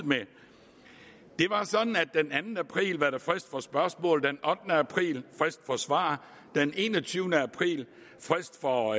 det var sådan at den anden april var der frist for spørgsmål den ottende april frist for svar den enogtyvende april frist for